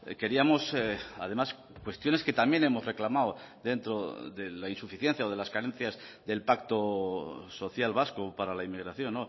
queríamos además cuestiones que también hemos reclamado dentro de la insuficiencia o de las carencias del pacto social vasco para la inmigración